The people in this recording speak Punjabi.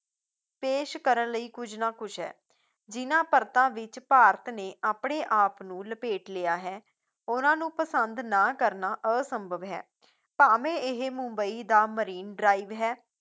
ਪੇਸ਼ ਕਰਨ ਲਈ ਕੁੱਝ ਨਾ ਕੁੱਝ ਹੈ, ਜਿੰਨਾ ਪਰਤਾਂ ਵਿੱਚ ਭਾਰਤ ਨੇ ਆਪਣੇ ਆਪ ਨੂੰ ਲਪੇਟ ਲਿਆ ਹੈ, ਉਹਨਾਂ ਨੂੰ ਪਸੰਦ ਨਾ ਕਰਨਾ ਅਸੰਭਵ ਹੈ ਭਾਵੇਂ ਇਹ ਮੁੰਬਈ ਦਾ marine drive ਹੈ